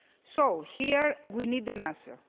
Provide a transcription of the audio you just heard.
So here we need an answer.